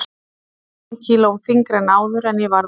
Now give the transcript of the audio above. Svo er ég fjórum kílóum þyngri en áður en ég varð ólétt.